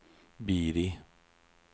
Biri